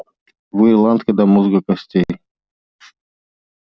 вы ирландка до мозга костей